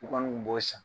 U kɔni kun b'o san